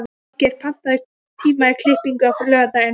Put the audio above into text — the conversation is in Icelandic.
Valgeir, pantaðu tíma í klippingu á laugardaginn.